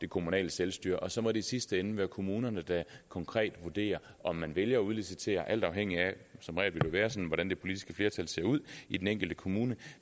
kommunale selvstyre og så må det i sidste ende være kommunerne der konkret vurderer om man vælger at udlicitere alt afhængigt af som regel hvordan det politiske flertal ser ud i den enkelte kommune